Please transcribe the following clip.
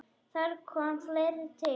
Þar kom fleira til.